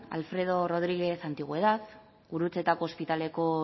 alfredo rodriguez antigüedad gurutzetako ospitaleko